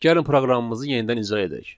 Gəlin proqramımızı yenidən icra edək.